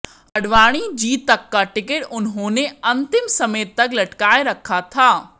अडवाणी जी तक का टिकिट उन्होंने अंतिम समय तक लटकाये रखा था